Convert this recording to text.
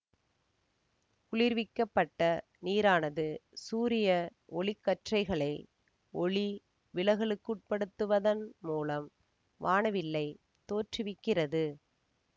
குளிர்விக்கப்பட்ட நீரானது சூரிய ஒளிக்கற்றைகளை ஒளி விலகலுக்குட்படுத்துவதன் மூலம் வானவில்லைத் தோற்றுவிக்கிறது